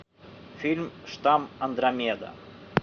фильм штамм андромеда